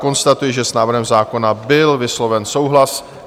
Konstatuji, že s návrhem zákona byl vysloven souhlas.